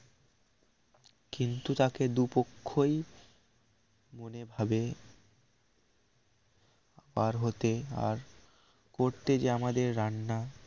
কিন্তু তাকে দু পক্ষই মনে ভাবে পার হতে আর করতে যে আমাদের রান্না